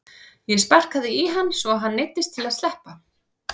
Ég sparkaði í hann svo að hann neyddist til að sleppa.